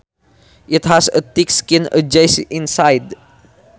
It has a thick skin and juicy inside